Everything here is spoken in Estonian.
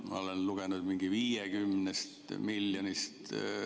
Ma olen lugenud 50 miljonist.